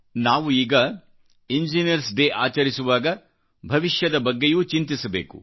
ನಾವು ಈಗ engineers day ಆಚರಿಸುವಾಗ ಭವಿಷ್ಯದ ಬಗ್ಗೆಯೂ ಚಿಂತಿಸಬೇಕು